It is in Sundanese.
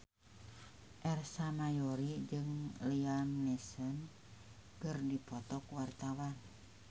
Ersa Mayori jeung Liam Neeson keur dipoto ku wartawan